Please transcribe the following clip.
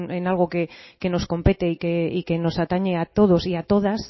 en algo que nos compete y que nos atañe a todos y a todas